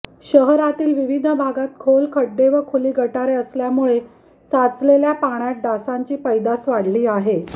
शहरातील विविध भागात खोल खड्डे व खुली गटारे असल्यामुळे साचलेल्या पाण्यात डासांची पैदास वाढली आहे